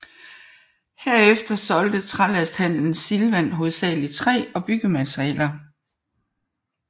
Herefter solgte Trælasthandelen Silvan hovedsageligt træ og byggematerialer